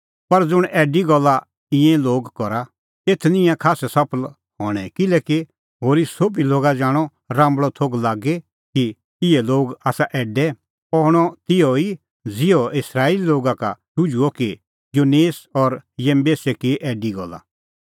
पर ज़ुंण ऐडी गल्ला ईंयां लोग करा एथ निं ईंयां खास्सै सफल हणैं किल्हैकि होरी सोभी लोगा जाणअ राम्बल़अ थोघ लागी कि इहै लोग आसा ऐडै अह हणअ तिहअ ई ज़िहअ इस्राएली लोगा का शुझुअ कि यन्नेस और यम्बेसै की ऐडी गल्ला